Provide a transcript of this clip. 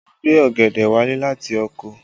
Mo gbé ọ̀gẹ̀dẹ̀ wálé láti oko